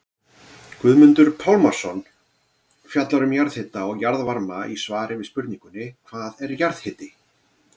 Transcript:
Guðmundur Pálmason fjallar um jarðhita og jarðvarma í svari við spurningunni Hvað er jarðhiti?